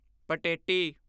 ਪਟੇਟੀ